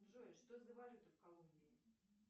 джой что за валюта в колумбии